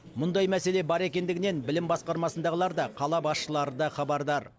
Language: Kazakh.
мұндай мәселе бар екендігінен білім басқармасындағылар да қала басшылары да хабардар